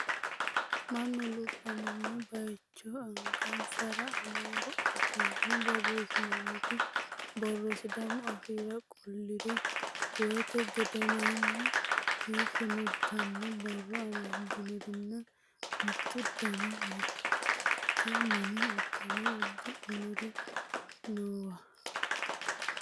Mannu lubbamino baayicho angansara amaaru afiinni borreessantino borro sidaamu afiira qolliro reewote gedenoonni heeshsho no yitanno borro amaddinorinna mottu dani maga'note mini uddano uddidhinori noowa.